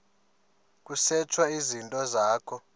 kusetshwe izinto zakho